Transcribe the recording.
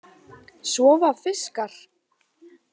Sofa fiskar?